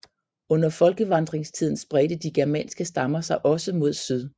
Under folkevandringstiden spredte de germanske stammer sig også mod syd